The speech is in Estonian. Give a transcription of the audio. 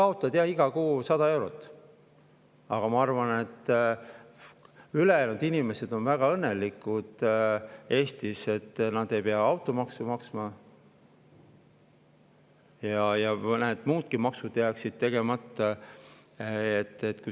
No sa kaotad jaa iga kuu 100 eurot, aga ma arvan, et ülejäänud inimesed Eestis on väga õnnelikud, et nad ei pea automaksu maksma, ja mõned muudki maksud jääksid tegemata.